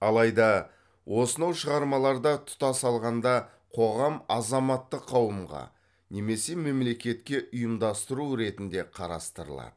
алайда осынау шығармаларда тұтас алғанда коғам азаматтық қауымға немесе мемлекетке ұйымдастыру ретінде қарастырылады